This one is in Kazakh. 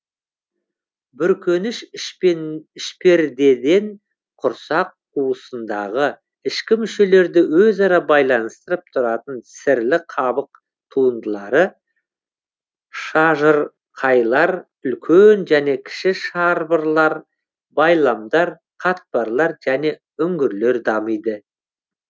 бүркеніш ішпердеден құрсақ қуысындагы ішкі мүшелерді өзара байланыстырып тұратын сірлі қабық туындылары шажырқайлар үлкен және кіші шарбырлар байламдар қатпарлар және үңгілер дамиды